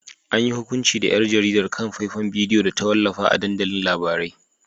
An yi hukunci da ‘yar jaridar kan faifan bidiyo da ta wallafa a dandalin labarai.